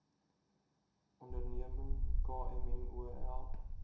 onderneming kmmo help